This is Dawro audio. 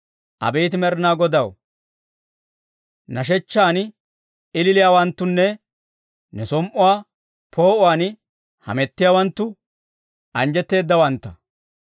Abeet Med'inaa Godaw, nashechchaan ililiyaawanttunne ne som"uwaa poo'uwaan hamettiyaawanttu anjjetteedawantta.